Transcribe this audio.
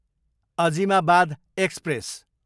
Azimabad express